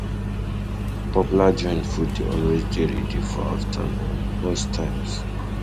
Popular joints food de always dey ready for afternoon um most times